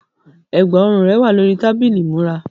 Ẹ̀gbá-ọrùn rẹ wà lórí tábìlì ìmúra.